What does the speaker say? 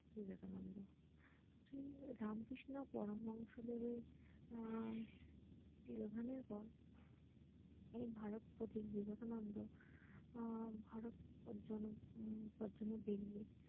বিবেকানন্দ তিনি রামকৃষ্ণ পরমহংস দেবের আহ তিরোধানের পর এই ভারত প্রতীক বিবেকানন্দ আহ ভারত জনক পদ্ধতি পেরেই